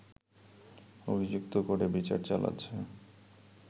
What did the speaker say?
অভিযুক্ত করে বিচার চালাচ্ছে